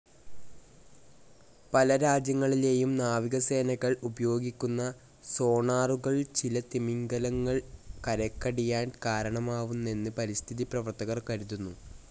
പല രാജ്യങ്ങളിലെയും നാവികസേനകൾ ഉപയോഗിക്കുന്ന സോണാറുകൾ ചില തിമിംഗിലങ്ങൾ കരക്കടിയാൻ കാരണമാവുന്നെന്ന് പരിസ്ഥിതിപ്രവർത്തകർ കരുതുന്നു.